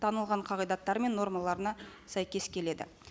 танылған қағидаттар мен нормаларына сәйкес келеді